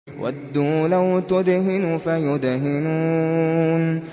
وَدُّوا لَوْ تُدْهِنُ فَيُدْهِنُونَ